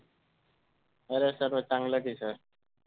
बरं आहे सर्व चांगलं आहे कि sir